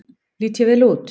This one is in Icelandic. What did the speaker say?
Lít ég vel út?